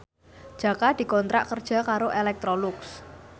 Jaka dikontrak kerja karo Electrolux